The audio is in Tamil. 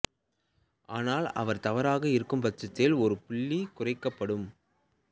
ஆனால் அவர் தவறாக இருக்கும் பட்சத்தில் ஒரு புள்ளி குறைக்கப்படும்